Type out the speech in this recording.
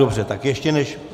Dobře, tak ještě než...